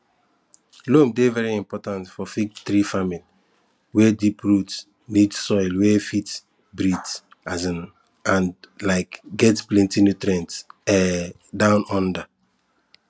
loam dey very important for fig tree farming were deep roots need soil wey fit breathe um and um get plenty nutrients um down under